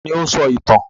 Ta ni ó ń sọ ìtàn?